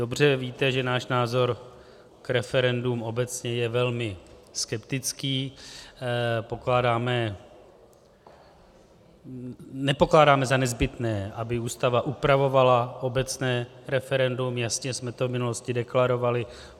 Dobře víte, že náš názor k referendům obecně je velmi skeptický, nepokládáme za nezbytné, aby Ústava upravovala obecné referendum, jasně jsme to v minulosti deklarovali.